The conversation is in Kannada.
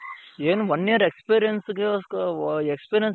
ಏನು one year experience ಗೋಸ್ಕರ ಓ experience